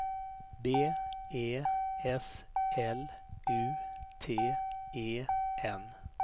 B E S L U T E N